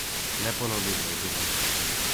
Neponovljivo je bilo!